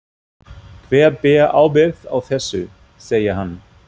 Hver ber ábyrgð á þessu? segir hann.